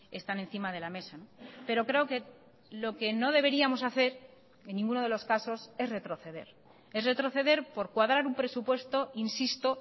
están encima de la mesa pero creo que lo que no deberíamos hacer en ninguno de los casos es retroceder es retroceder por cuadrar un presupuesto insisto